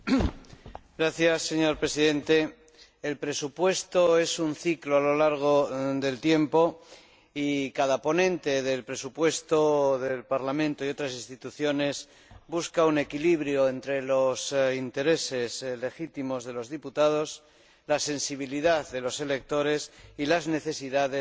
Señor Presidente, el presupuesto es un ciclo a lo largo del tiempo y cada ponente del presupuesto del Parlamento y otras instituciones busca un equilibrio entre los intereses legítimos de los diputados, la sensibilidad de los electores y las necesidades de la administración.